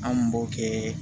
An kun b'o kɛ